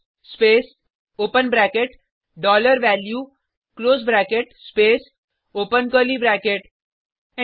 switch space open bracket dollar value close bracket space open curly bracket